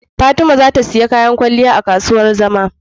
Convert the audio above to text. Fatima zata siya kayan kwaliya a kasuwar zama